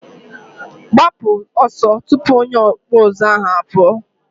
gbapu oso tupu onye ọkpụ ụzụ ahụ apuo!